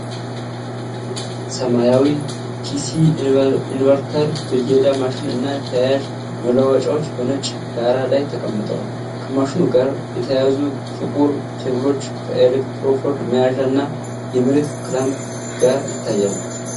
ሰማያዊ ዲሲ ኢንቨርተር ብየዳ ማሽን እና ተያያዥ መለዋወጫዎች በነጭ ዳራ ላይ ተቀምጠዋል። ከማሽኑ ጋር የተያያዙ ጥቁር ኬብሎች ከኤሌክትሮድ መያዣ እና የመሬት ክላምፕ ጋር ይታያሉ።